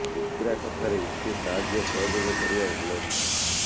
ମିତ୍ରା କଥାରେ ଏତେ ସାହାଯ୍ୟ ସହଯୋଗ କରିବା ଭଲ ନୁହେଁ